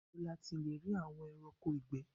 Ìbo la le tí rí àwọn ẹranko ìgbé?